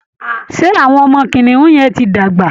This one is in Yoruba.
Ṣé àwọn ọmọ kìnìún yẹn ti dàgbà?